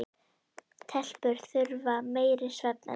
Telpur þurfa meiri svefn en piltar.